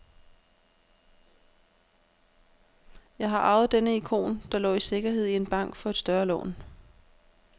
Jeg har arvet denne ikon, der lå i sikkerhed i en bank for et større lån.